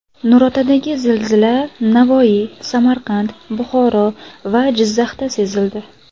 Nurotadagi zilzila Navoiy, Samarqand, Buxoro va Jizzaxda sezildi.